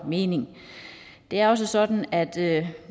mening det er også sådan at